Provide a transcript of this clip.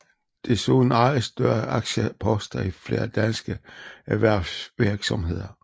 Desuden ejes større aktieposter i flere danske erhvervsvirksomheder